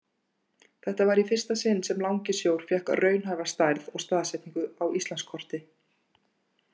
Þetta var í fyrsta sinn sem Langisjór fékk raunhæfa stærð og staðsetningu á Íslandskorti.